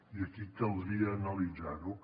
i aquí caldria analitzar ho